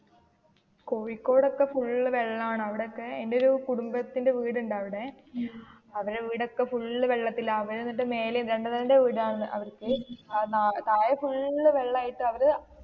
കോഴിക്കോട് ഒക്കെ full വെള്ളണ് അവിടൊക്കെ എന്റെ ഒരു കുടുംബത്തിന്റെ വീടുണ്ട് അവിടെ. അവര് അവിടെയൊക്കെ full വെള്ളത്തില്, അവര് അന്നിട്ട് മേലെ രണ്ടുനീലടെ വീടാണ് അവർക്ക്. താഴെ full വെള്ളയിട്ട് അവര്,